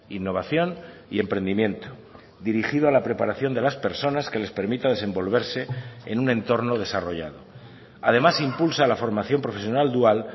innovación y emprendimiento dirigido a la preparación de las personas que les permita desenvolverse en un entorno desarrollado además impulsa la formación profesional dual